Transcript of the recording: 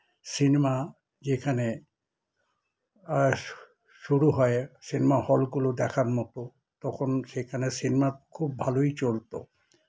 cinema যেখানে আ শুরু হয় cinema hall গুলো দেখার মত তখন সেখানে cinema খুব ভালোই চলত